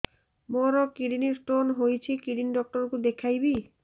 ମୋର kidney stone ହେଇଛି kidney doctor କୁ ଦେଖାଇବି